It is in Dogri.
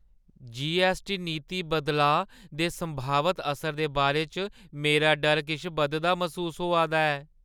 जीऐस्सटी नीति बदलाऽ दे संभावत असर दे बारे च मेरा डर किश बधदा मसूस होआ दा ऐ।